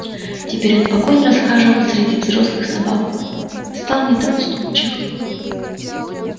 теперь он спокойно расхаживал среди взрослых собак стал не так уступчив